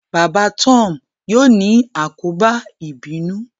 baba Tom yíò ni àkóbá ibinu